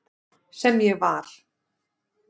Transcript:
Sem ég var.